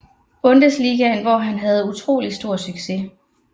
Bundesligaen hvor han havde utrolig stor succes